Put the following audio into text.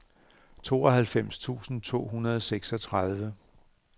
tooghalvfems tusind to hundrede og seksogtredive